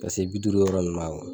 Ka se bi duuru yɔrɔ ninnu ma